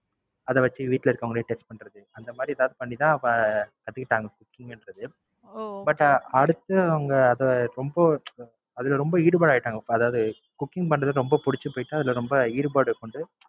அத வச்சு வீட்ல இருக்கவுங்கலே Taste பண்றது. அந்த மாதிரி எதாவது பண்ணிதான் அவுங்க கத்துக்கிட்டாங்க Cooking பன்றது. But அடுத்து அவுங்க அதை ரொம்ப அதுல ரொம்ப ஈடுபாடா ஆயிட்டாங்க இப்ப அதாவது Cooking பண்றது ரொம்ப புடுச்சு போயிட்டா அதுல ரொம்ப ஈடுபாடு கொண்டு